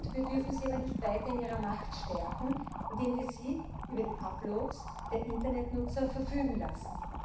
Wir dürfen sie aber nicht weiter in ihrer Macht stärken, indem wir sie über die Uploads der Internetnutzer verfügen lassen.